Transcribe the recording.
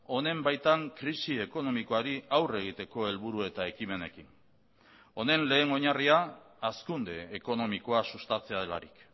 honen baitan krisi ekonomikoari aurre egiteko helburu eta ekimenekin honen lehen oinarria hazkunde ekonomikoa sustatzea delarik